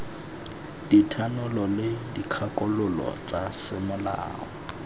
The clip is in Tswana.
dithanolo le dikgakololo tsa semolao